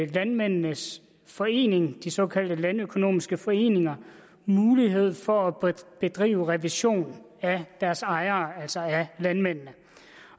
landmændenes forening de såkaldte landøkonomiske foreninger mulighed for at bedrive revision af deres ejere altså af landmænd